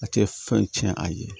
A tɛ fɛn cɛn a ye